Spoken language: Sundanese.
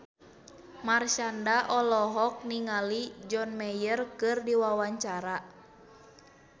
Marshanda olohok ningali John Mayer keur diwawancara